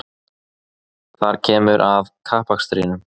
Þar kemur að kappakstrinum